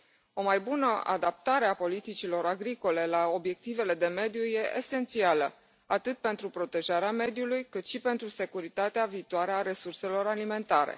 O mai bună adaptare a politicilor agricole la obiectivele de mediu e esențială, atât pentru protejarea mediului, cât și pentru securitatea viitoare a resurselor alimentare.